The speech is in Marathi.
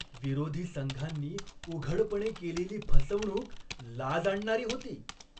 विरोधी संघानी उघडपणे केलेली फसवणूक लाज आणणारी होती.